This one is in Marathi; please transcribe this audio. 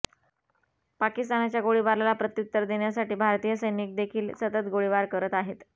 पाकिस्तानाच्या गोळीबाराला प्रत्युत्तर देण्यासाठी भारतीय सैनिक देखील सतत गोळीबार करत आहेत